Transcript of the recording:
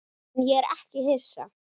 En ég er ekki hissa.